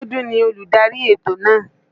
Biọ́dún ni olùdarí ètò náà.